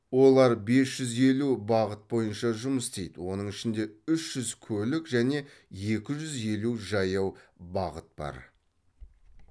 олар бес жүз елу бағыт бойынша жұмыс істейді оның ішінде үш жүз көлік және екі жүз елу жаяу бағыт бар